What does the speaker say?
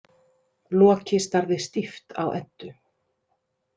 Loki starði stíft á Eddu.